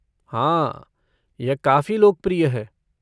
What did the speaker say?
हाँ, यह काफी लोकप्रिय है।